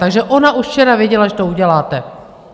Takže ona už včera věděla, že to uděláte.